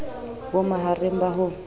bo ma hareng ba ho